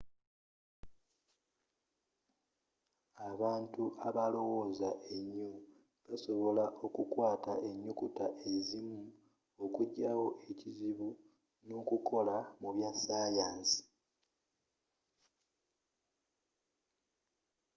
abantu abalowooza ennyo, basobola okukwata ennyukuta ezimu, okujja wo ekizibu n’okukola mu bya sayansi